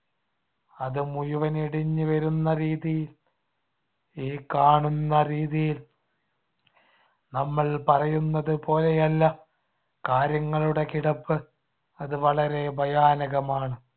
അത് മുഴുവനും ഇടിഞ്ഞു വരുന്ന രീതിയിൽ ഈ കാണുന്ന രീതിയിൽ നമ്മൾ പറയുന്നത് പോലെയല്ല കാര്യങ്ങളുടെ കിടപ്പ്. അത് വളരെ ഭയാനകമാണ്.